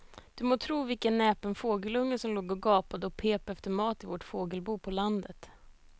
Du må tro vilken näpen fågelunge som låg och gapade och pep efter mat i vårt fågelbo på landet.